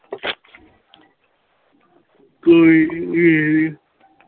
ਕੋਈ ਨਹੀਂ